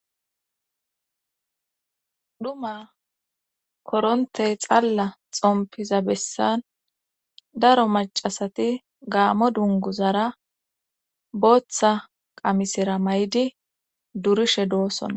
duma korontey xalla xompiza bessan daro macasati gaamo dunguzara booththa qamisira may7idi durishe doossona